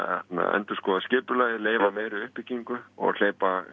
endurskoða skipulagið leyfa meiri uppbyggingu og hleypa